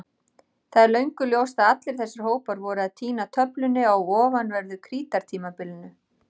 Það er löngu ljóst að allir þessir hópar voru að týna tölunni á ofanverðu Krítartímabilinu.